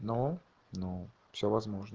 ну ну все возможно